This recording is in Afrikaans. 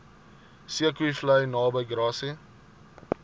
zeekoevlei naby grassy